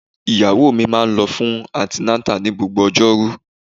Ìyàwó mi máa ń lọ fún antenatal ní gbogbo ojoru.